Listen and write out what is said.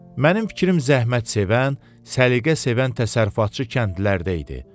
Mənim fikrim zəhmətsevən, səliqəsevən təsərrüfatçı kəndlilərdə idi.